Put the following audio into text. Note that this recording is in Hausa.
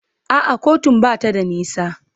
A'a kotun ba ta da nisa.